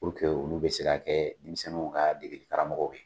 olu be se ka kɛ denmisɛnninw ka degeli karamɔgɔw ye.